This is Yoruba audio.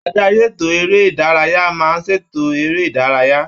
Adarí ètò eré-ìdárayá máa ṣètò eré ìdárayá.